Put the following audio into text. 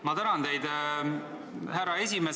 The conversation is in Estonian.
Ma tänan teid, härra esimees!